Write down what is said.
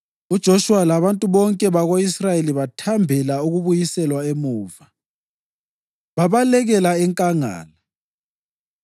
UJoshuwa labantu bonke bako-Israyeli bathambela ukubuyiselwa emuva, babalekela enkangala.